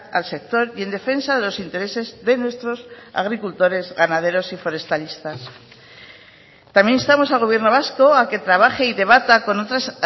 al sector y en defensa de los intereses de nuestros agricultores ganaderos y forestalistas también instamos al gobierno vasco a que trabaje y debata con otras